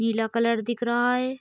पीला कलर दिख रहा है।